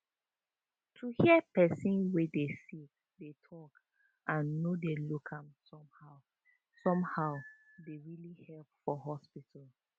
to hear person wey dey sick dey talk and no dey look am somehow somehow dey really help for hospital